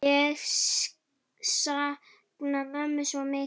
Ég sakna mömmu svo mikið.